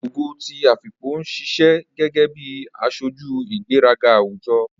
Ogo ti Afikpo ń ṣiṣẹ́ gẹ́gẹ́ bí aṣojú ìgbéraga àwùjọ.